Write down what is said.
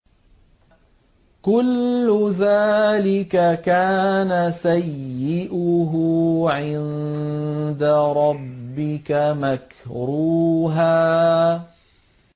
كُلُّ ذَٰلِكَ كَانَ سَيِّئُهُ عِندَ رَبِّكَ مَكْرُوهًا